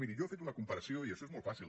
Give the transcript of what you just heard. miri jo he fet una comparació i això és molt fàcil